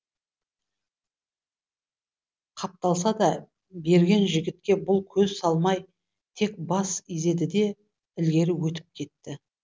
қапталдаса берген жігітке бұл көз салмай тек бас изеді де ілгері өтіп кетті